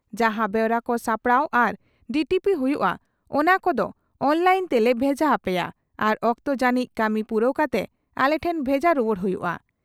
ᱡᱟᱦᱟ ᱵᱮᱣᱨᱟ ᱠᱚ ᱥᱟᱯᱲᱟᱣ ᱟᱨ ᱰᱤᱴᱤᱯᱤ ᱦᱩᱭᱩᱜ ᱼᱟ ᱚᱱᱟ ᱠᱚᱫᱳ ᱚᱱᱞᱟᱭᱤᱱ ᱛᱮᱞᱮ ᱵᱷᱮᱡᱟ ᱦᱟᱯᱮᱭᱟ ᱟᱨ ᱚᱠᱛᱚ ᱡᱟᱹᱱᱤᱡ ᱠᱟᱹᱢᱤ ᱯᱩᱨᱟᱹᱣ ᱠᱟᱛᱮ ᱟᱞᱮ ᱴᱷᱮᱱ ᱵᱷᱮᱡᱟ ᱨᱩᱣᱟᱹᱲ ᱦᱩᱭᱩᱜᱼᱟ ᱾